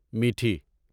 میٹھی